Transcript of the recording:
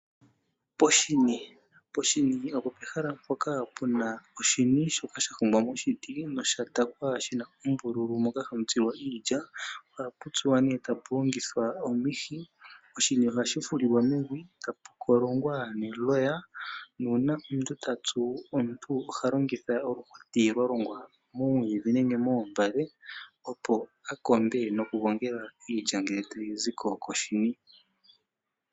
Poshini opo pehala mpoka pena oshini sha hongwa miiti . Oombululu moka hamu tulwa iilya ohapu tsuwa nee tapu longitgwa omihi ilya ngele tayi ziko koshini.